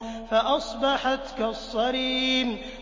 فَأَصْبَحَتْ كَالصَّرِيمِ